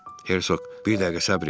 Hersoq, bir dəqiqə səbr et.